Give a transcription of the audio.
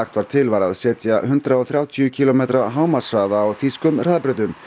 var til var að setja hundrað og þrjátíu kílómetra hámarkshraða á þýskum hraðbrautum